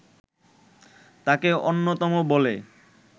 তাকে অন্যতম বলে